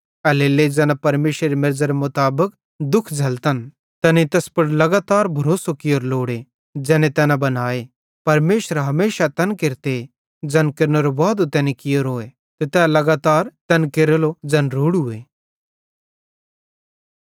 एल्हेरेलेइ ज़ैना परमेशरेरी मेरज़रे मुताबिक दुःख झ़ैल्लतन तैनेईं तैस पुड़ लगातार भरोसो कियोरो लोड़े ज़ैने तैना बनाए परमेशर हमेशा तैन केरते ज़ैन केरनेरो वादो तैनी कियोरोए ते तै लगातार तैन केरेलो ज़ैन रोड़ूए